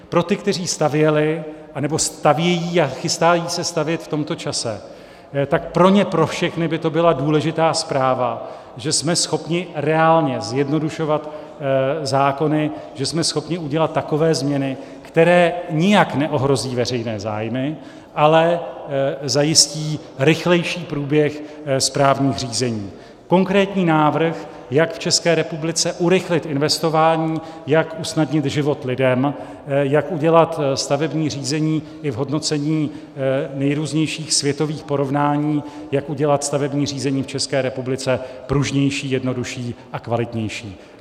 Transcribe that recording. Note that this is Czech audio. Pro ty, kteří stavěli, nebo stavějí a chystají se stavět v tomto čase, tak pro ně pro všechny by to byla důležitá zpráva, že jsme schopni reálně zjednodušovat zákony, že jsme schopni udělat takové změny, které nijak neohrozí veřejné zájmy, ale zajistí rychlejší průběh správních řízení, konkrétní návrh, jak v České republice urychlit investování, jak usnadnit život lidem, jak udělat stavební řízení i v hodnocení nejrůznějších světových porovnání, jak udělat stavební řízení v České republice pružnější, jednodušší a kvalitnější.